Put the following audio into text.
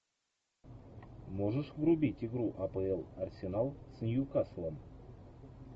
можешь врубить игру апл арсенал с ньюкаслом